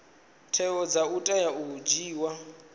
tsheo dza tea u dzhiiwa